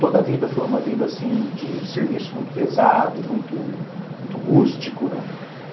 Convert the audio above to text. Toda a vida foi uma vida assim de serviço muito pesado, muito rústico, né?